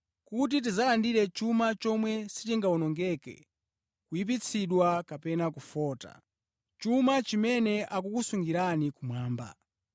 kuti tidzalandire chuma chomwe sichingawonongeke, kuyipitsidwa kapena kufota. Chuma chimenechi akukusungirani kumwamba.